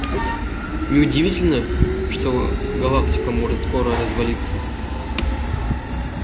не удивительно что галактика может скоро развалиться